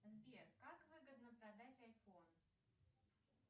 сбер как выгодно продать айфон